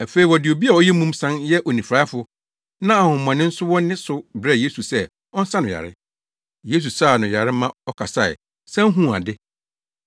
Afei wɔde obi a ɔyɛ mum san yɛ onifuraefo, na honhommɔne nso wɔ ne so brɛɛ Yesu sɛ ɔnsa no yare. Yesu saa no yare ma ɔkasae, san huu ade.